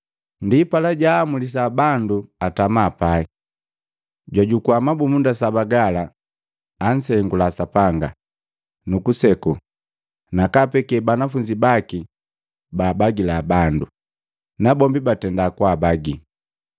Ndipala, jaamulisa bandu atama pai. Jwajukua mabumunda saba gala, ansengula Sapanga, nukuseku, nakaapekee banafunzi baki baabagila bandu, nabombi batenda kwaabagii.